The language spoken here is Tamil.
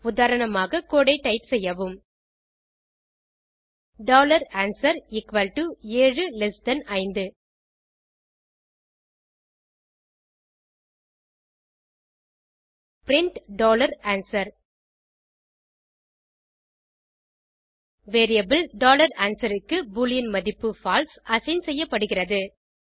உதாரணமாக கோடு ஐ டைப் செய்வும் answer 75 print answer variable answer க்கு பூலியன் மதிப்பு பால்சே அசைன் செய்யப்படுகிறது